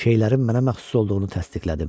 Şeylərim mənə məxsus olduğunu təsdiqlədim.